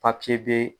Papiye bɛ